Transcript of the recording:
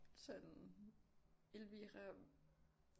Sådan Elvira